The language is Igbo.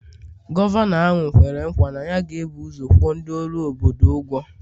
Gọvanọ ahụ kwere nkwa na ya ga-ebu ụzọ kwụọ ndị ọrụ obodo ụgwọ